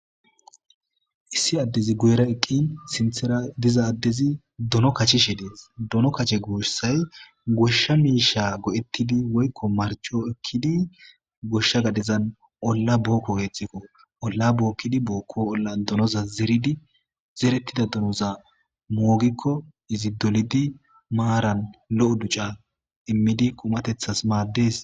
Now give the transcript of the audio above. issi addezi guyera eqqin sinthera diza addezi dono kachishe dees dono kache gooshsay goshsha miisha go7ettidi woykko marcho ekkidi goshsha gadezan olla bookko weethxikko olla bookkidi bookko olla donoza zeridi zerettida donoza moogikko izi dolidi maaran lo7o duca immidi qumatethas maaddees